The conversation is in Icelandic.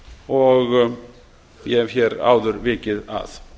og ég hef hér áður vikið að